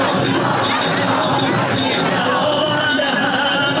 Allahu Əkbər, Allahu Əkbər!